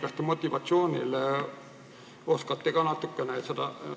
Kas te motivatsiooni oskate ka natukene selgitada?